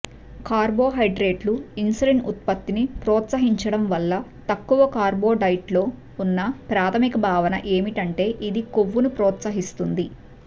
కార్బొహైడ్రేట్లు insulin ఉత్పత్తిని ప్రోత్సహించడం వల్ల తక్కువ కార్బ్ డైట్లో ఉన్న ప్రాథమిక భావన ఏమిటంటే ఇది కొవ్వును ప్రోత్సహిస్తుంది